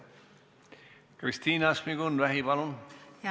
Kristina Šmigun-Vähi, palun!